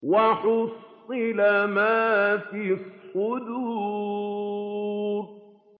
وَحُصِّلَ مَا فِي الصُّدُورِ